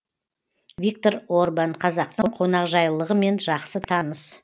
виктор орбан қазақтың қонақжайлылығымен жақсы таныс